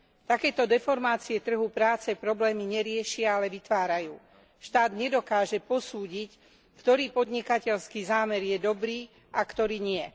Takéto deformácie trhu práce problémy neriešia, ale vytvárajú. Štát nedokáže posúdiť, ktorý podnikateľský zámer je dobrý a ktorý nie.